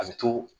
A bɛ to